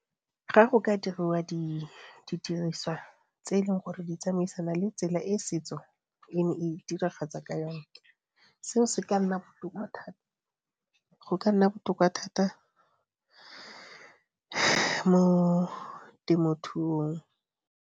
Ga go ka diriwa didiriswa tse e leng gore di tsamaisana le tsela e setso e ne e diragatsa ka yone, seo se ka nna botoka thata. Go ka nna botoka thata mo temothuong.